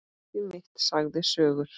Fólkið mitt sagði sögur.